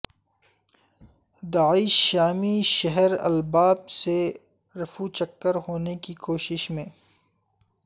داعش شامی شہر الاباب سے رفو چکر ہونے کی کوشش میں